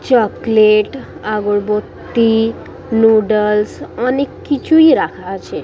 Chocolate আগরবতি noodles অনেক কিছুই রাখা আছে।